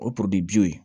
O porodi ye